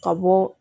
Ka bɔ